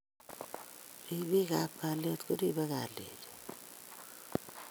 ripikap kalyet koribei kalyenyo